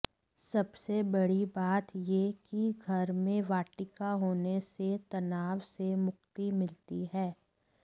सबसे बड़ी बात यह कि घर में वाटिका होने से तनाव से मुक्ति मिलती है